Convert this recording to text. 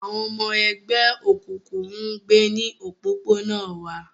Àwọn ọmọ ẹgbẹ́ òkùnkùn ń gbé ní òpópónà wa